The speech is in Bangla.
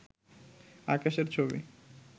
আকাশের ছবি